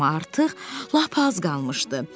Amma artıq lap az qalmışdı.